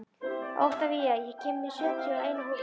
Oktavías, ég kom með sjötíu og eina húfur!